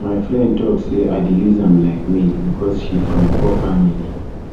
my friend tok sey i dey use am like maid because she from poor family